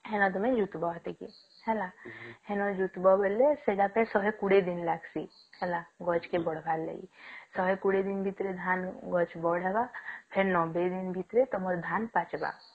ହେନା ତମେ ହେଲା ଜୁଟିବା ବେଲେ ସେତାକୁ ପୁର ଶହେ କୋଡିଏ ଦିନ ଲାଗସି ହେଲା ଗଛ ଖାଲି ବଢିବାର ଲାଗି ଶହେ କୋଡିଏ ଦିନ ଭିତରେ ଧାନ ଗଛ ବଢିବା ଫେର ନବେ ଦିନ ଭିତରେ ତମ ଧାନ ପାଚିବା